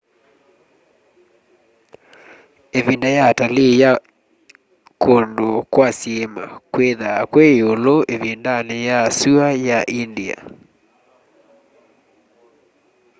ivinda ya atalii ya kundu kwa syiima kwithwaa kwi iulu ivindani ya sua ya india